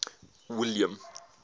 william